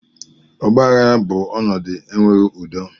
Ọgbaghara bụ ọnọdụ enweghị udo